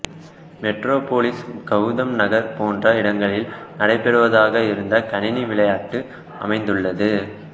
Metropolis Gotham நகரம் போன்ற இடங்களில் நடைபெறுவதாக இந்த கணினி விளையாட்டு அமைந்துள்ளது